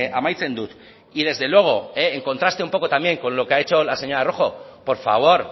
amaitzen dut y desde luego en contraste un poco también con lo que ha dicho la señora rojo por favor